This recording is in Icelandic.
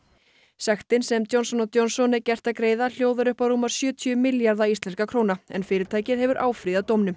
sektin sem Johnson Johnson er gert að greiða hljóðar upp á rúma sjötíu milljarða íslenskra króna en fyrirtækið hefur áfrýjað dómnum